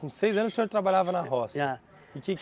Com seis anos o senhor trabalhava na roça? Já. E que